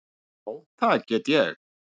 Já, það get ég.